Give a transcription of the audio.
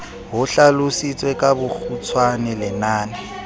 ho hlalositswe ka bokgutshwane lenane